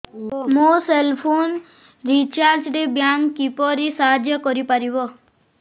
ମୋ cell phone recharge ରେ bank କିପରି ସାହାଯ୍ୟ କରିପାରିବ